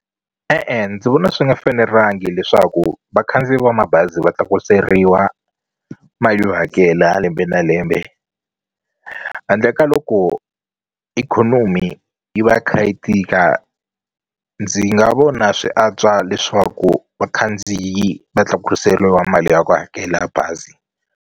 E-e ndzi vona swi nga fanelangi leswaku vakhandziyi va mabazi va tlakuseriwa mali yo hakela lembe na lembe handle ka loko ikhonomi yi va yi kha yi tika ndzi nga vona swi antswa leswaku vakhandziyi va tlakuseliwa mali ya ku hakela bazi.